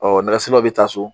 nɛgɛsirilaw bɛ taa so